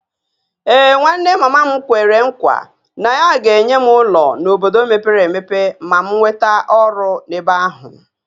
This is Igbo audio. Ee, nwanne mama m kwere nkwa na ya ga-enye m ụlọ n’obodo mepere emepe ma m nweta ọrụ n’ebe ahụ